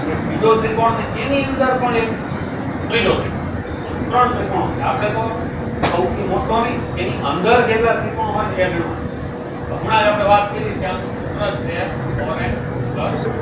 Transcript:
એક બીજો ત્રિકોણ અને એની અંદર પણ એક ત્રીજો ત્રિકોણ કુલ ત્રણ ત્રિકોણ આપડે તો સૌથી મોટો નઈ એની અંદર જેટલા ત્રિકોણ હોય એ ગણવાનાં તો હમણાજ આપડે વાત કરી કે આનું સૂત્ર છે four n plus